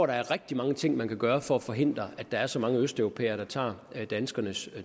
der er rigtig mange ting man kan gøre for at forhindre at der er så mange østeuropæere der tager danskernes